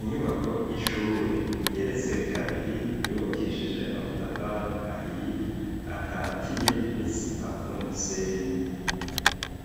Inyubako y'ishure igeretse kabiri yubakishije amatafari ahiye akatiye n'isima n'umusenyi.